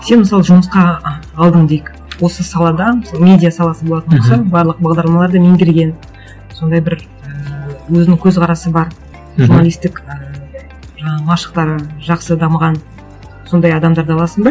сен мысалы жұмысқа алдың дейік осы саладан мысалы медиа саласы болатын болса барлық бағдарламаларды меңгерген сондай бір ііі өзінің көзқарасы бар мхм журналистік і жаңағы машықтары жақсы дамыған сондай адамдарды аласың ба